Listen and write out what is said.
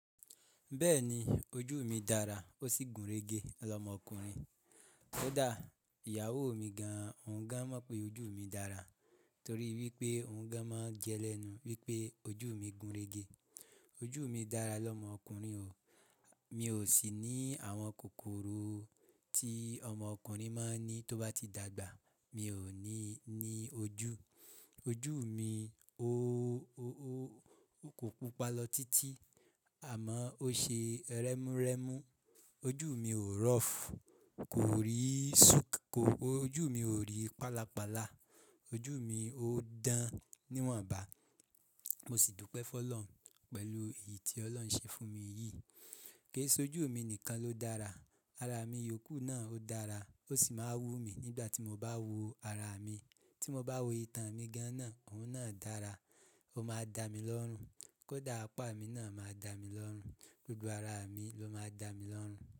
Bẹ́ẹ̀ni ojú mi dára ó sì gúnrégé lọmọkùnrin. Kódà ìyàwó mi gan-an òun gan-an mọ̀ pé ojú mi dára torí wípé òun gan-an máa ń jẹ lẹ́nu wípé ojú mi gúnrégé. Ojú mi dára lọmọkùnrin o, mi ò sì ní àwọn kòkòrò tí ọmọkùnrin máa ń ní tó bá ti dàgbà. Mi ò ní ní ojú, ojú mi ó kó pupa lọ títí àmọ́ ó ṣe rẹ́múrẹ́mú. Ojú mi ò rọ́f, kò rí súùkù, ojú mi ò rí pálapála, ojú mi ó dán níwọ̀nba. Mo sì dúpẹ́ fún Ọlọ́run pẹ̀lú èyí tí Ọlọ́run ṣe fún mi yìí. Kì í ṣe ojú mi nìkan ló dára, ara mi yòókù náà ó dára ó sì máa wú mi nígbà tí mo bá wo ara mi. Tí mo bá wo itan mi gan-an náà óun náà dára, ó máa dá mi lọ́run kódà apá mi náà máa dá mi lọ́run, gbogbo ara mi ló máa dá mi lọ́run.